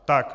Tak.